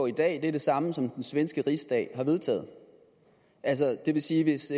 i dag er det samme som den svenske rigsdag har vedtaget det vil sige at hvis